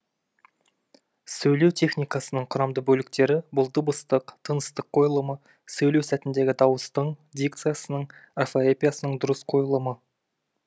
сөйлеу техникасының құрамды бөліктері бұл дыбыстық тыныстық қойылымы сөйлеу сәтіндегі дауыстың дикциясының орфоэпиясының дұрыс қойылымы